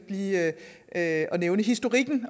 lige at nævne historikken